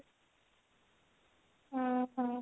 ହଁ ହଁ